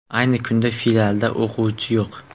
Ayni kunda filialda o‘quvchi yo‘q.